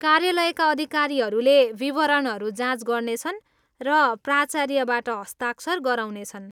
कार्यालयका अधिकारीहरूले विवरणहरू जाँच गर्नेछन् र प्राचार्यबाट हस्ताक्षर गराउनेछन्।